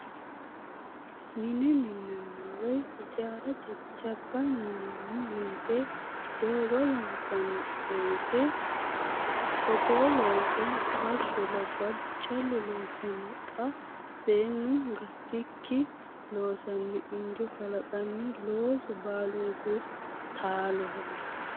Mine minanni woyi hijaara jajjabba minani woyte doogo loonsanni woyte togoo loosso bashsho labbalu callu loosano xa seenu gatikki loosano injo kalanqonni loosu baalunku taaloho.